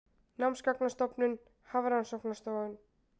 Námsgagnastofnun- Hafrannsóknastofnun.